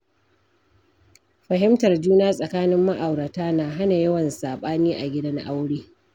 Fahimtar juna tsakanin ma’aurata na hana yawan saɓani a gidan aure.